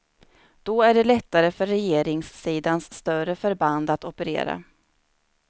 Då är det lättare för regeringssidans större förband att operera.